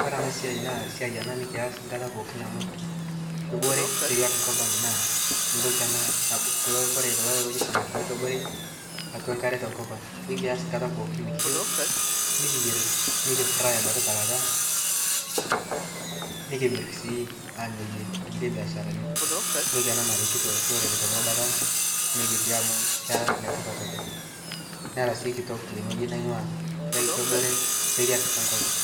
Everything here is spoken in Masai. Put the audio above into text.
kore anaa naa siai ana nikias nkata pooki amu kobore seriak nkopang naa ntoki anaa kuloo kore kuloo looji samakini kobore atua nkaree tonkopang ikiaz nkata pookin nikiyeu nikiyer nikifraai abaki te lata nikimir sii anyayie nkulie biasharani ntokii anaa naretitoo lorere tonkaibata nikitii amuu kera netipat oleng nera sii kitok tengojii naingua kakee koboree seriak e nkopang.